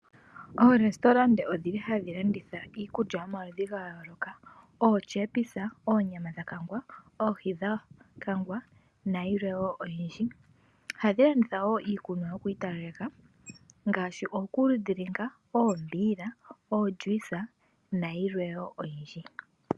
Oorestauranta odhi li hadhi landitha iikulya yomaludhi gayooloka: ootyepisa, oonyama dhakangwa, oohi dhakangwa nayilwe wo oyindji. Ohadhi landitha wo iikunwa yokwiitalaleka ngaashi: okuludilinga, oombiila, oolyuisa nayilwe wo oyindji.